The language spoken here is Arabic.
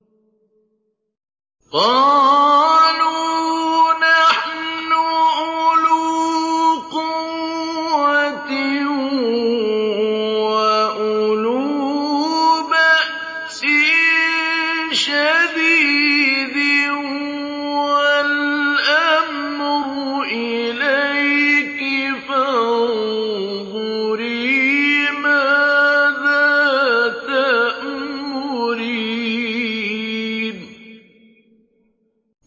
قَالُوا نَحْنُ أُولُو قُوَّةٍ وَأُولُو بَأْسٍ شَدِيدٍ وَالْأَمْرُ إِلَيْكِ فَانظُرِي مَاذَا تَأْمُرِينَ